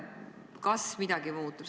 Kas midagi muutub?